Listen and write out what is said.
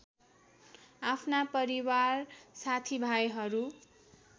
आफ्ना परिवार साथीभाइहरू